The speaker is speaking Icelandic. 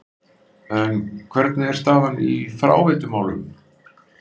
En hvernig er staðan í fráveitumálum?